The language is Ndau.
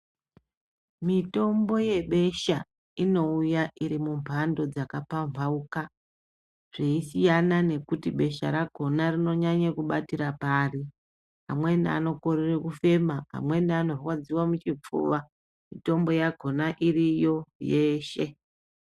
Mitombo yebesha inouya iri mumhando dzakapambauka zveisiyana kuti besha rakona rinonyanya kubatira pari amweni anokorera kufema amweni anorwadziwa muchipfuwa mitombo yakona iriyo yeshe.